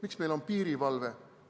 Miks meil on piirivalve?